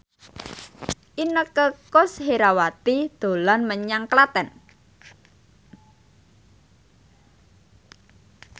Inneke Koesherawati dolan menyang Klaten